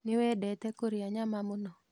Nĩwendete kũrĩa nyama mũno?